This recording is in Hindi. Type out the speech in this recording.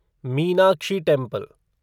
मीनाक्षी टेंपल